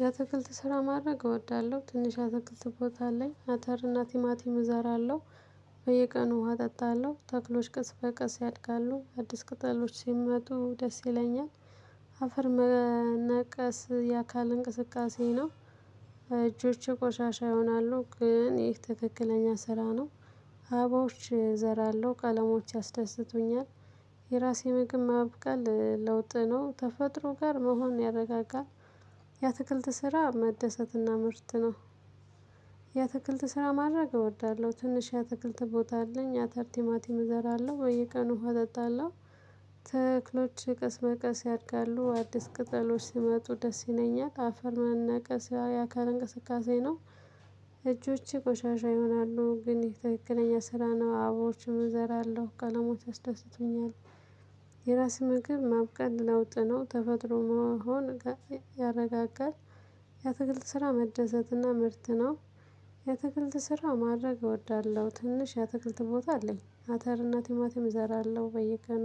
የአትክልት ስራ ማድረግ እወዳለሁ ትንሽ አትክልት ቦታ ላይ አተር እና ቲማቲም እዘራለው። በየቀኑ ውሃ አጠጣለሁ ተክሎች ቀስ በቀስ ያድጋሉ አዲስ ቅጠሎች ሲመጡ ደስ ይለኛል። አፈር መነቀስ የአካል እንቅስቃሴ ነው። እጆቼ ቆሻሻ ይሆናሉ ግን ይህ ትክክለኛ ስራ ነው። አብባዎች እዘራለሁ ቀለሞች ያስደስቱኛል። የራሴ ምግብ ማብቃል ለውጥ ነው ተፈጥሮ ጋር መሆን ያረጋጋል። የአትክልት ስራ መደሰትና ምርት ነው። ያትክልት ስራ ማድረግ እወዳለሁ ትንሽ ያትክልት ቦታ አለኝ አተር ቲማቲም እዘራለሁ በየቀኑ ውሃ አጠጣለሁ። ተክሎች ቀስ በቀስ ያድጋሉ አዲስ ቅጠሎች ሲመጡ ደስ ይለኛል። አፈር መነቀስ ያካል እንቅስቃሴ ነው። እጆቼ ቆሻሻ ይሆናሉ ግን ይሄ ትክክለኛ ስራ ነው አብባዎችን እዘራለሁ ቀለሞች ያስደስቱኛል። የራስ ምግብ ማብቃት ለውጥ ነው ተፈጥሮ መሆን ያረጋጋል። የአትክልት ስራ መደሰትና ምርት ነው። የአትክልት ስራ ማድረግ እወዳለሁ ትንሽ ያተክልት ቦታ አለኝ አተር እና ቲማቲም እዘራለሁ በየቀኑ